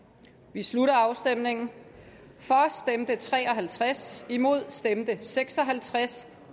vi slutter afstemningen for stemte tre og halvtreds imod stemte seks og halvtreds